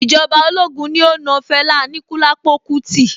Ìjọba ológun ní ó na Fẹlá Aníkúlápó kútí.